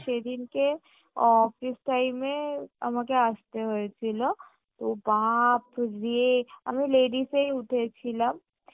সেইদিনকে office time এ আমাকে আসতে হয়েছিলো ও বাপ রে! আমি ladies এই উঠেছিলাম